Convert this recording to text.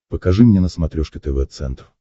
покажи мне на смотрешке тв центр